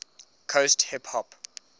coast hip hop